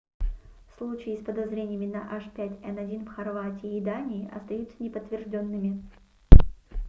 случаи с подозрениями на h5n1 в хорватии и дании остаются неподтверждёнными